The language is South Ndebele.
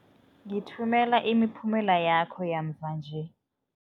Ngithumela imiphumela yakho yamva nje.